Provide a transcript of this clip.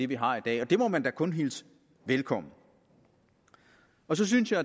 vi har i dag og det må man da kun hilse velkommen så synes jeg